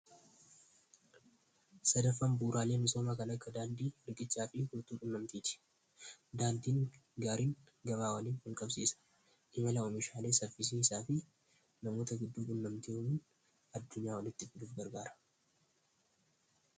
sadaffan buuraalee misooma magaala akka daandii, riqichaa fi qunnamtiiti daandiin gaariin gabaa walqabsiisa imala oomishaalee sarisiiisaa fi namoota gidduu qunnamtiwwan addunyaa walitti fiduuf gargaara